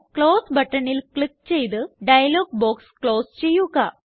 close ബട്ടണില് click ചെയ്ത് dialog box close ചെയ്യുക